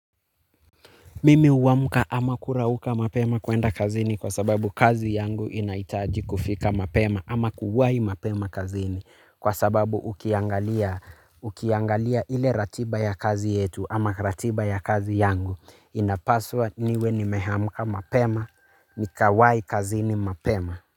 Mimi huamka ama kurauka mapema kuenda kazini kwa sababu kazi yangu inahitaji kufika mapema ama kuwai mapema kazini kwa sababu ukiangalia ukiangalia ile ratiba ya kazi yetu ama ratiba ya kazi yangu inapaswa niwe nimeamka mapema nikawai kazini mapema.